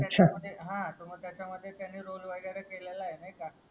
हा तर त्याचा मध्ये त्यांनी एक रोल वगैरे केलेलाय नाय का